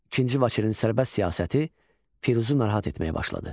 İkinci Vaçenin sərbəst siyasəti Firuzu narahat etməyə başladı.